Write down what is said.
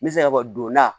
N bɛ se ka fɔ donda